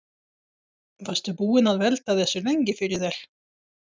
Varstu búinn að velta þessu lengi fyrir þér?